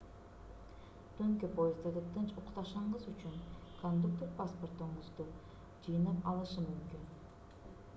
түнкү поезддерде тынч укташыңыз үчүн кондуктор паспортторуңузду жыйнап алышы мүмкүн